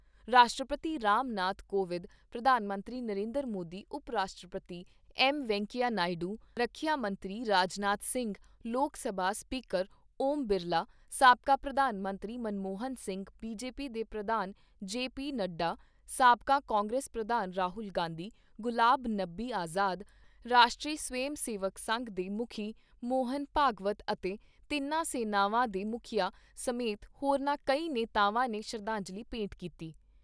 ਰਾਸ਼ਟਰਪਤੀ ਰਾਮ ਨਾਥ ਕੋਵਿਦ, ਪ੍ਰਧਾਨ ਮੰਤਰੀ ਨਰਿੰਦਰ ਮੋਦੀ, ਉਪ ਰਾਸ਼ਟਰਪਤੀ ਐੱਮ ਵੈਂਕਈਆ ਨਾਇਡੂ, ਰੱਖਿਆ ਮੰਤਰੀ ਰਾਜਨਾਥ ਸਿੰਘ, ਲੋਕ ਸਭਾ ਸਪੀਕਰ ਓਮ ਬਿਰਲਾ, ਸਾਬਕਾ ਪ੍ਰਧਾਨ ਮੰਤਰੀ ਮਨਮੋਹਨ ਸਿੰਘ, ਬੀਜੇਪੀ ਦੇ ਪ੍ਰਧਾਨ ਜੇ ਪੀ ਨੱਡਾ, ਸਾਬਕਾ ਕਾਂਗਰਸ ਪ੍ਰਧਾਨ ਰਾਹੁਲ ਗਾਂਧੀ, ਗੁਲਾਬ ਨਬੀ ਆਜ਼ਾਦ, ਰਾਸ਼ਟਰੀ ਸਵੈਮ ਸੇਵਕ ਸੰਘ ਦੇ ਮੁੱਖੀ ਮੋਹਨ ਭਾਗਵਤ ਅਤੇ ਤਿੰਨਾਂ ਸੈਨਾਵਾਂ ਦੇ ਮੁੱਖੀਆਂ ਸਮੇਤ ਹੋਰਨਾਂ ਕਈ ਨੇਤਾਵਾਂ ਨੇ ਸ਼ਰਧਾਂਜਲੀ ਭੇਂਟ ਕੀਤੀ।